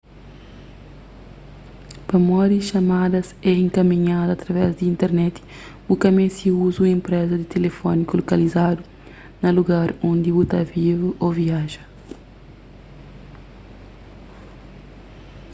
pamodi xamadas é inkaminhadu através di internet bu ka meste uza un enpreza tilifóniku lokalizadu na lugar undi bu ta vive ô viaja